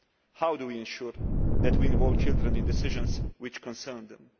How do we ensure that we involve children in decisions that concern them?